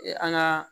An ka